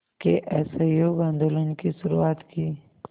के असहयोग आंदोलन की शुरुआत की